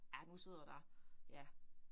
Ja, nu sidder der ja